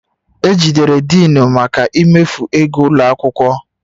E jidere Denu maka imefu ego ụlọ akwụkwọ